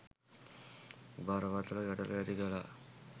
බරපතළ ගැටලු ඇති කළා